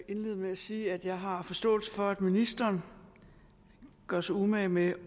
indlede med at sige at jeg har forståelse for at ministeren gør sig umage med